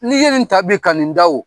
N' i ye nin ta bi ka nin da wu